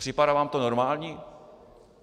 Připadá vám to normální?